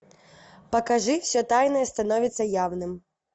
покажи все тайное становится явным